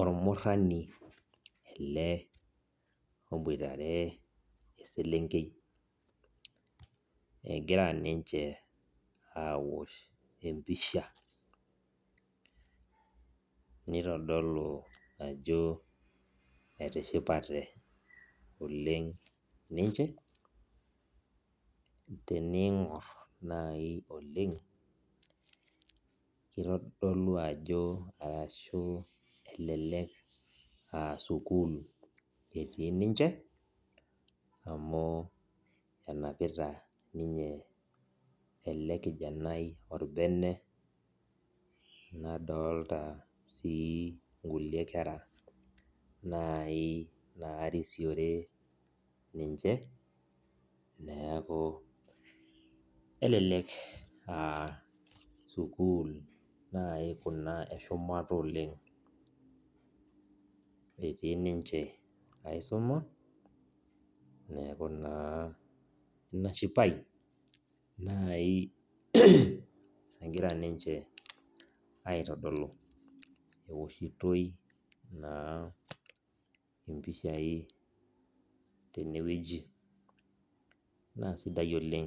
Ormurani ele oboitare eseelenkei egira ninche aosh empisha nitodolu ajo etishipate oleng ninche teningor oleng kitodolu ajo elelek aa sukul etii ninche amu enapita ninche elekijanai orbene nadolta nkulie kera nai narisiore ninche neaku kelek aa sukul nai kuna eshumata oleng etii ninche aisuma neaku inashipae nai egira ninche aitodolu eoshitoi mpishai tenewueji na sidai